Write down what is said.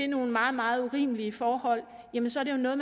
nogle meget meget urimelige forhold jamen så er det jo noget